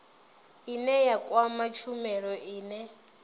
ine ya kwama tshumelo ine